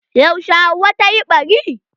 Yaushe Hauwa ta yi ɓari?